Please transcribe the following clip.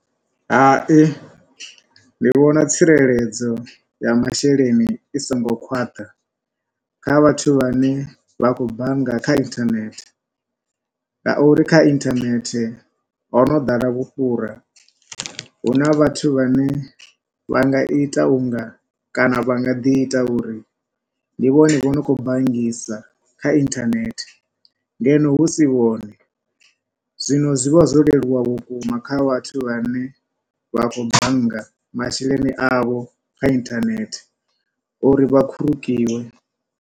Hai, ndi vhona tsireledzo ya masheleni i so ngo khwaṱha kha vhathu vha ne vha khou bannga kha internet, ngauri kha internet ho no ḓala vhufhura. Huna vhathu vha ne vha nga ita unga, kana vha nga ḓi ita uri ndi vhone vho no khou banngisa kha intenet, ngeno husi vhone, zwino zwi vha zwo leluwa vhukuma kha vhathu vha ne vha khou bannga masheleni avho kha internet uri vha khurukiwe.